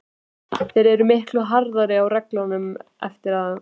Þeir eru miklu harðari á reglunum eftir að